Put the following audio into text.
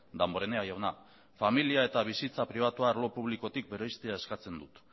damborenea jauna familia eta bizitza pribatua arlo publikotik bereiztea eskatzen dut